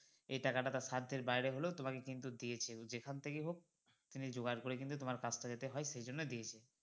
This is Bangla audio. এই টাকা টা তার সাধ্যের বাইরে হলেও তোমাকে কিন্তু দিয়েছে তো যেখান থেকে হোক তিনি জোগাড় করে কিন্তু তোমার কাজটা যাতে হয় সেইজন্যে কিন্তু দিয়েছে